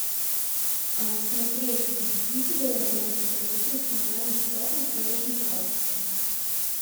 смотреть мстители война бесконечности онлайн бесплатно в хорошем качестве